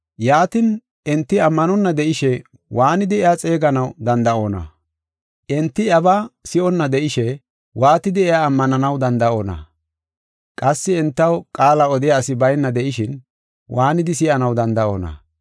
Yaatin, enti ammanonna de7ishe waanidi iya xeeganaw danda7onna? Enti iyabaa si7onna de7ishe waatidi iya ammananaw danda7onna? Qassi entaw qaala odiya asi bayna de7ishin, waanidi si7anaw danda7oona?